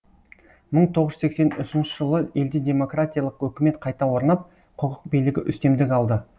мың тоғыз жүз сексен үшінші жылы елде демократиялық өкімет қайта орнап құқық билігі үстемдік алды